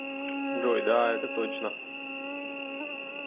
джой да это точно